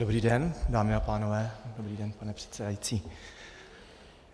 Dobrý den, dámy a pánové, dobrý den, pane předsedající.